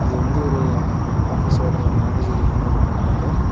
இது வந்து ஒரு ஆபீஸோட மேனேஜர் ரூம் மாத்ரி இருக்கு பாக்க.